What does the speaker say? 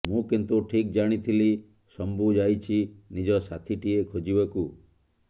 ମୁଁ କିନ୍ତୁ ଠିକ୍ ଜାଣିଥିଲି ଶମ୍ଭୁ ଯାଇଛି ନିଜ ସାଥିଟିଏ ଖୋଜିବାକୁ